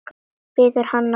Biður hann að bíða.